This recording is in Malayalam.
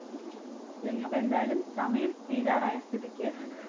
അപ്പൊ എന്തായാലും സമയം തീരാറായ സ്ഥിതിക്ക്